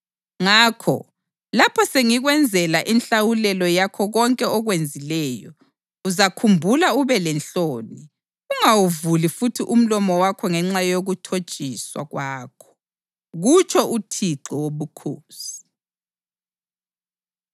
Ngakho, lapho sengikwenzela inhlawulelo yakho konke okwenzileyo, uzakhumbula ube lenhloni ungawuvuli futhi umlomo wakho ngenxa yokuthotshiswa kwakho, kutsho uThixo Wobukhosi.’ ”